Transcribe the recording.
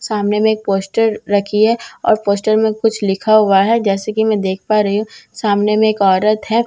सामने में एक पोस्टर रखी है और पोस्टर मे कुछ लिखा हुआ है जैसा की मैं देख पा रही हूँ सामने में एक औरत है --